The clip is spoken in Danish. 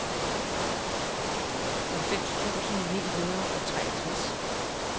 halvfems tusind ni hundrede og treogtres